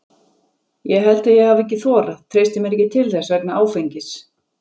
Ég held að ég hafi ekki þorað, treysti mér ekki til þess vegna áfengis.